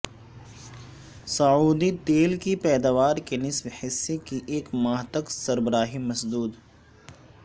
سعودی تیل کی پیداوار کے نصف حصہ کی ایک ماہ تک سربراہی مسدود